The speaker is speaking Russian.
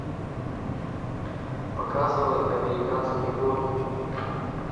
показывай американские боги